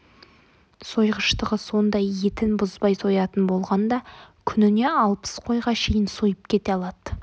сойғыштығы сондай етін бұзбай соятын болғанда күніне алпыс қойға шейін сойып кете алады